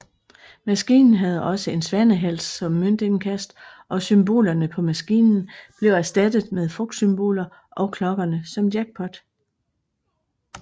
Maskinen havde også en svanehals som møntindkast og symbolerne på maskinen blev erstattet med frugtsymboler og klokkerne som jackpot